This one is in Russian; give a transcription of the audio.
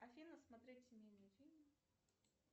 афина смотреть семейные фильмы